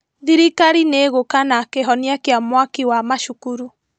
Thirikari nĩĩgũka na kĩhonia kĩa mwaki wa macukuru